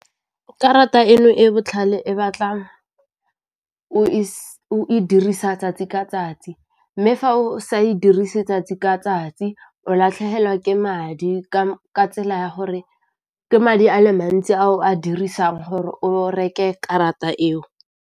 Karata eno e botlhale e batla o e dirisa 'tsatsi ka 'tsatsi, mme fa o sa e dirise 'tsatsi ka 'tsatsi o latlhegelwa ke madi ka tsela ya gore ke madi ale mantsi a o a dirisang gore o reke karata eo.